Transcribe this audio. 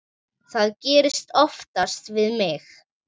Það gerist oftast með mig.